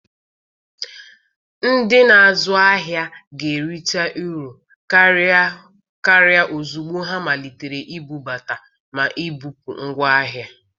Ndị na-azụ ahịa ga-erita uru karịa ozugbo ha malitere ibubata ma na-ebupụ ngwa ahịa.